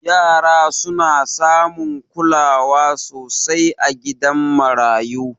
Yara suna samun kulawa sosai a gidan marayu